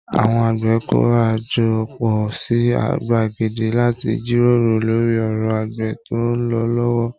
Àwọn àgbẹ̀ kóra jọ pọ̀ sí gbàgede láti jíròrò lórí ọ̀rọ̀ àgbẹ̀ tó ń lọ lọ́wọ́